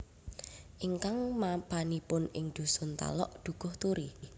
Ingkang mapanipun ing dhusun Talok Dukuhturi